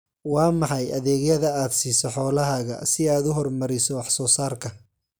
Waa maxay adeegyada aad siiso xoolahaaga si aad u horumariso wax soo saarka?